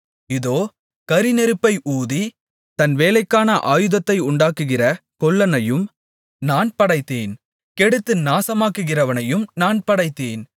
இதோ கரிநெருப்பை ஊதி தன் வேலைக்கான ஆயுதத்தை உண்டாக்குகிற கொல்லனையும் நான் படைத்தேன் கெடுத்து நாசமாக்குகிறவனையும் நான் படைத்தேன்